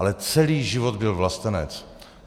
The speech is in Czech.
Ale celý život byl vlastenec.